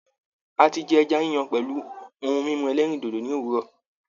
A ti jẹ ẹja yíyan pẹ̀lú ohun mímu ẹlẹ́rìndòdò ní òwúrọ̀.